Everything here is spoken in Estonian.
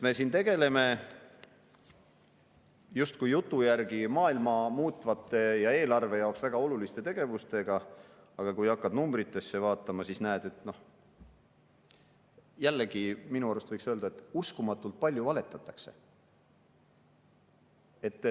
Me siin tegeleme jutu järgi justkui maailma muutvate ja eelarve jaoks väga oluliste tegevustega, aga kui hakkad numbreid vaatama, siis näed, jällegi, minu arust võiks nii öelda, et uskumatult palju valetatakse.